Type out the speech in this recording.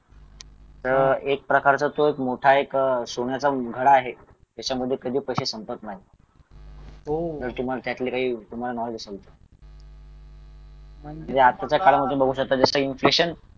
अह एक प्रकारचा तो मोठा एक सोन्याचा मुखडा आहे त्याच्यामध्ये कधी पैसे संपत नाहीत जर तुम्हाला त्यातलं काही काही नॉलेज असेल तर म्हणजे आताच्या काळामध्ये तुम्ही जसं बघू शकता जसं इन्फेक्शन